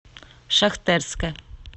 шахтерске